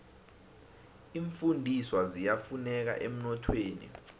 iimfundiswa ziyafuneka emnothweni